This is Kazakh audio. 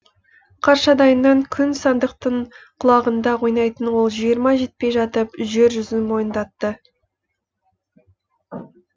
қаршадайынан күй сандықтың құлағында ойнайтын ол жиырмаға жетпей жатып жер жүзін мойындатты